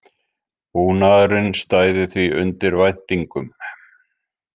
Búnaðurinn stæði því undir væntingum